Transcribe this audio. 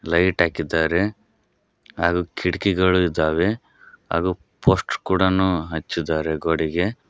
Light ಹಾಕಿದ್ದಾರೆ ಹಾಗು ಕಿಟಕಿಗಳು ಇದ್ದಾವೆ ಹಾಗು ಪೋಸ್ಟ್ ಕೂಡ ಹಚ್ಚಿದ್ದಾರೆ ಗೋಡೆಗೆ.